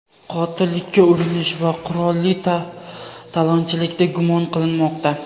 qotillikka urinish va qurolli talonchilikda gumon qilinmoqda.